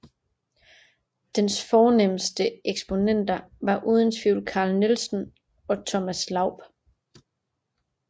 Dens fornemste eksponenter var uden tvivl Carl Nielsen og Thomas Laub